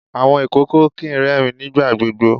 Awọn ìkòkò kìí rẹ́ẹ̀rín nígbà gbogbo.